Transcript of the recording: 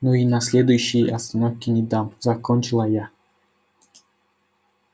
но и на следующей остановке не дам закончила я